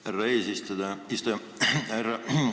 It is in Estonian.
Härra eesistuja!